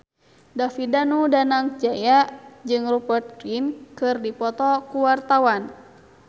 David Danu Danangjaya jeung Rupert Grin keur dipoto ku wartawan